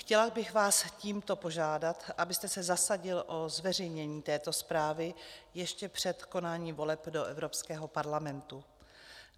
Chtěla bych vás tímto požádat, abyste se zasadil o zveřejnění této zprávy ještě před konáním voleb do Evropského parlamentu.